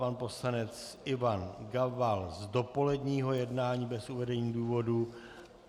Pan poslanec Ivan Gabal z dopoledního jednání bez uvedení důvodu.